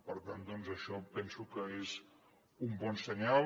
per tant doncs això penso que és un bon senyal